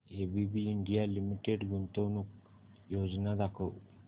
ABB India limited गुंतवणूक योजना दाखव